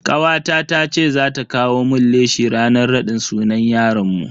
Kawata tace za ta kawo mun leshi ranan raɗin sunan yaron mu.